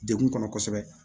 Degun kɔnɔ kosɛbɛ